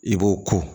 I b'o ko